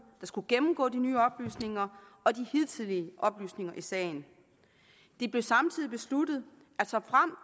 der skulle gennemgå de nye oplysninger og de hidtidige oplysninger i sagen det blev samtidig besluttet